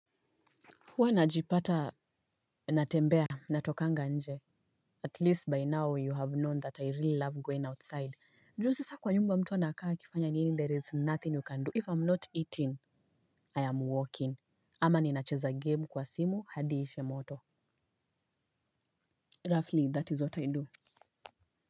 Huwa najipata natembea natokanga nje at least by now you have known that I really love going outside. Juu sasa kwa nyumba mtu anakaa akifanya nini there is nothing you can do. If I'm not eating I am walking ama ninacheza game kwa simu hadi ishe moto. Roughly that is what I do.